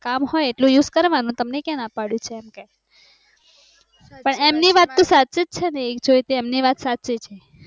કામ હોઈ એટલો use કરવાનો તમને ક્યાં ના પૈડું છે એમ, પણ એમની વાત તો સચીજ છેન એમ જોઈં તો સચીજ છે